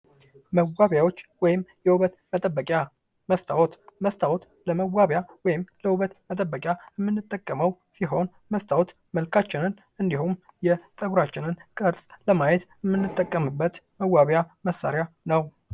መቋሚያዎች ወይም የውበት መጠበቂያ መስታወት መስታወት ለመዋቢያ ወይም ለውበት መጠበቂያ ምንጠቀመው ሲሆን፤ መስታወት መልካችንን እንዲሁም የጸጉራችንን ቅርስ ለማየት የምንጠቀምበት መዋቢያ መሳሪያ ነው።